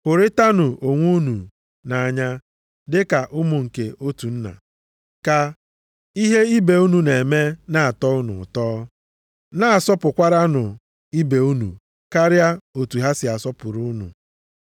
Hụrịtanụ onwe unu nʼanya, dịka ụmụ nke otu nna. Ka ihe ibe unu na-eme na-atọ unu ụtọ. Na-asọpụkwaranụ ibe unu karịa otu ha si asọpụrụ unu.